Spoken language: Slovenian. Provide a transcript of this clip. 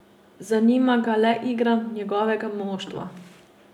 Zanima ga le igra njegovega moštva.